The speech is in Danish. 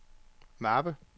mappe